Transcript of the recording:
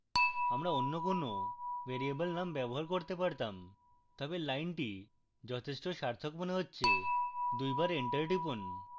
আমরা any কোনো variable name ব্যবহার করতে পারতাম তবে লাইনটি যথেষ্ট সার্থক মনে হচ্ছে দুইবার এন্টার টিপুন